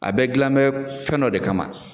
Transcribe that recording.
A bɛɛ gilan bɛn fɛn kamadɔ de kama.